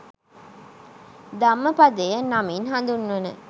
ධම්මපදය නමින් හඳුන්වන